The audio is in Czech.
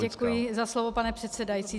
Děkuji za slovo, pane předsedající.